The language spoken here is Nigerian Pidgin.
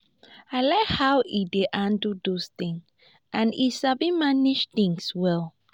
i like how he dey handle those things and he sabi manage things well